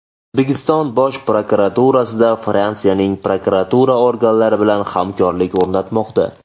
O‘zbekiston Bosh prokuraturasida Fransiyaning prokuratura organlari bilan hamkorlik o‘rnatmoqda.